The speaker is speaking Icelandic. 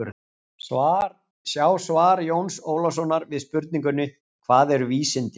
Sjá svar Jóns Ólafssonar við spurningunni: Hvað eru vísindi?